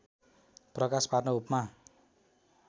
प्रकाश पार्न उपमा